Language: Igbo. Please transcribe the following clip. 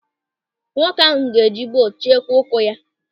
Nwoke ahụ ga-eji buutu chekwaa ụkwụ ya.